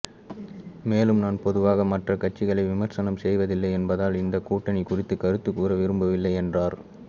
மேலும் நான் பொதுவாக மற்ற கட்சிகளை விமர்சனம் செய்வதில்லை என்பதால் இந்த கூட்டணி குறித்து கருத்து கூற விரும்பவில்லை என்றார்